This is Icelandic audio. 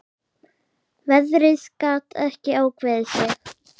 Veðrið gat ekki ákveðið sig.